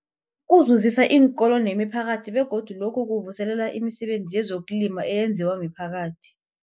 Kuzuzisa iinkolo nemiphakathi begodu lokhu kuvuselela imisebenzi yezokulima eyenziwa miphakathi.